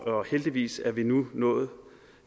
heldigvis er vi nu nået